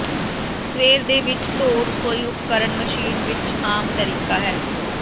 ਸਵੇਰ ਦੇ ਵਿੱਚ ਧੋ ਰਸੋਈ ਉਪਕਰਣ ਮਸ਼ੀਨ ਵਿਚ ਆਮ ਤਰੀਕਾ ਹੈ